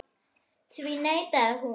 Því neitaði hún.